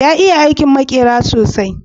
ya iya aikin makera sosai